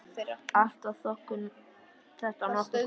Allt var þetta nokkuð gott.